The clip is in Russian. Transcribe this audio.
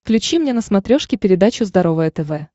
включи мне на смотрешке передачу здоровое тв